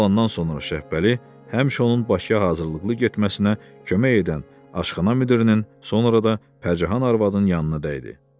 Maaşı alandan sonra Şəhbəli həmişə onun Bakıya hazırlıqlı getməsinə kömək edən aşxana müdirinin sonra da Pərcahan arvadın yanına dəydi.